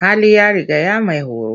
Hali ya rigaya maihoro.